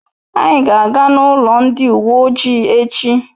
Anyị ga aga n'ụlọ ndị uwe ojii echi